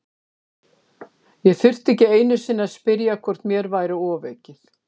Ég þurfti ekki einu sinni að spyrja hvort mér væri ofaukið.